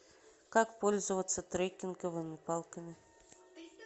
как пользоваться трекинговыми палками